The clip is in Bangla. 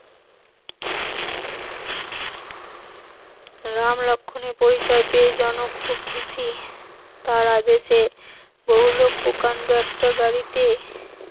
রাম লক্ষণ এর পরিচয় পেয়ে জনক খুব খুশি, তার আদেশে বহু লোক প্রকাণ্ড একটা গাড়িতে